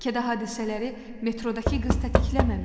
Bəlkə də hadisələri metrodakı qız tətikləməmişdi.